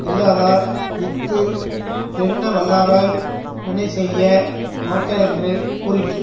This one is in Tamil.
இல்லாதார் இஃது எண்ணவல்லாராய் வினை செய்ய மாட்டரென்று கூறிற்று